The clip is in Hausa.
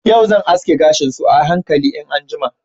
Yau zan aske gashin su a hankali in an jima.